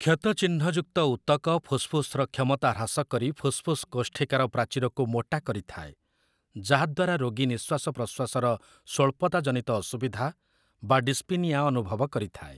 କ୍ଷତଚିହ୍ନଯୁକ୍ତ ଉତକ ଫୁସ୍‌ଫୁସ୍‌ର କ୍ଷମତା ହ୍ରାସ କରି ଫୁସ୍‌ଫୁସ୍‌ କୋଷ୍ଠିକାର ପ୍ରାଚୀରକୁ ମୋଟା କରିଥାଏ ଯାହାଦ୍ଵାରା ରୋଗୀ ନିଶ୍ୱାସ ପ୍ରଶ୍ୱାସ ର ସ୍ଵଳ୍ପତା ଜନିତ ଅସୁବିଧା ବା ଡିସ୍ପିନିଆ ଅନୁଭବ କରିଥାଏ ।